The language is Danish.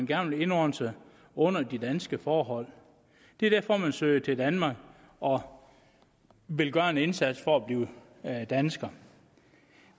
gerne vil indordne sig under de danske forhold det er derfor man søger til danmark og vil gøre en indsats for at blive dansker